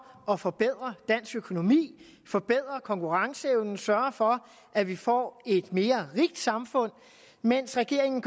at forbedre dansk økonomi forbedre konkurrenceevnen altså sørge for at vi får et mere rigt samfund mens regeringen